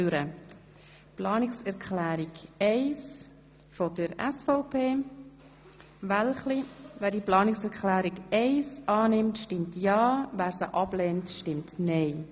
Wer Planungserklärung 1 der SVP annehmen will, stimmt ja, wer sie ablehnt, stimmt nein.